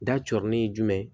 Da cɔrɔnin ye jumɛn